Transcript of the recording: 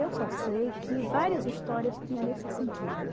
Eu só sei que várias histórias tinham nesse sentido.